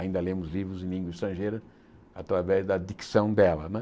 Ainda lemos livros em língua estrangeira através da dicção dela né.